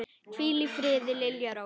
Hvíl í friði, Lilja Rós.